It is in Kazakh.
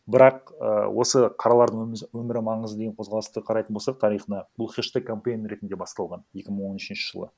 бірақ і осы қаралардың өмірі маңызды деген қозғалысты қарайтын болсақ тарихына бұл хештег кампэйн ретінде басталған екі мың он үшінші жылы